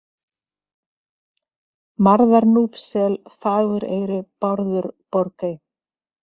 Marðarnúpssel, Fagureyri, Bárður, Borgey